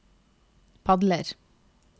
padler